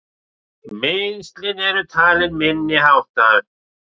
Meiðslin eru talin minniháttar